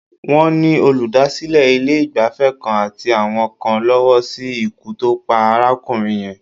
Wọ́n ni olùdásílẹ̀ ilé-ìgbafẹ́ kan àti àwọn kan lọ́wọ́ sí ikú tó pa arákùnrin yẹn.